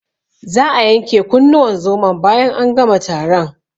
Za'a yanke kunnuwan zomon bayan an gama taron.